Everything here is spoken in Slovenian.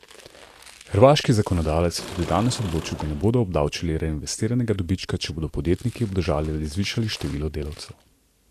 Hrvaški zakonodajalec je danes tudi odločil, da ne bodo obdavčili reinvestiranega dobička, če bodo podjetniki obdržali ali zvišali število delavcev.